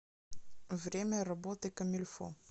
время работы комильфо